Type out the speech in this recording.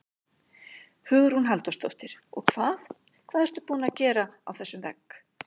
Hugrún Halldórsdóttir: Og hvað, hvað ertu búin að gera á þessum vegg?